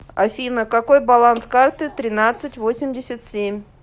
афина какой баланс карты тринадцать восемьдесят семь